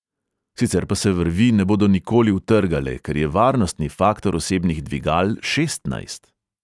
Sicer pa se vrvi ne bodo nikoli utrgale, ker je varnostni faktor osebnih dvigal šestnajst.